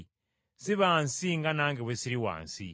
Si ba nsi nga nange bwe siri wa nsi.